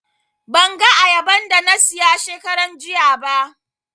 Ban ga ayaban da na siya shekaran jiya ba